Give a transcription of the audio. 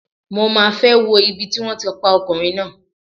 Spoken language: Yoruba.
Mo máa fẹ́ wo ibi tí wón ti pa ọkùnrin náà.